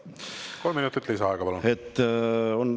Kolm minutit lisaaega, palun!